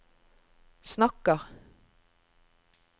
snakker